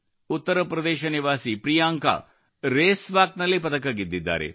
ಉತ್ತರಪ್ರದೇಶ ನಿವಾಸಿ Priyanka race walk ನಲ್ಲಿ ಪದಕ ಗೆದ್ದಿದ್ದಾರೆ